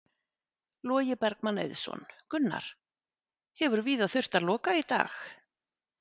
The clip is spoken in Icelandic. Logi Bergmann Eiðsson: Gunnar, hefur víða þurft að loka í dag?